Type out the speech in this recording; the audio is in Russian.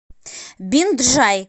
бинджай